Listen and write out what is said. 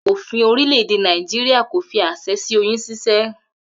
Òfin orílè̩-èdè Nàìjíríà kò fi às̩e̩ sí oyún s̩ís̩é̩